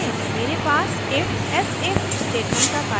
मेरे पास ifelsif statement का कार्यकारी उदाहरण है